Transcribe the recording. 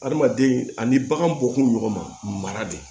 Adamaden ani bagan bɔkun ɲɔgɔn ma mara de